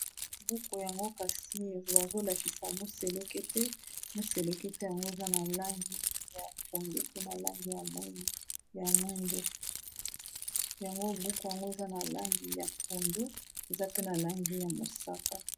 Buku yango kasi bazolakisa moseleke te moselekete yango eza na langi ya pondu pe na langi ya mwindu yango buku yango eza na langi ya pondu eza pe na langi ya mosaka.